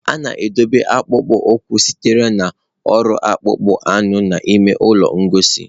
A na-edobe akpụkpọ ụkwụ sitere na ọrụ akpụkpọ anụ n'ime ụlọ ngosi.